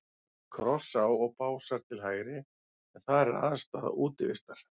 Krossá og Básar til hægri, en þar er aðstaða Útivistar.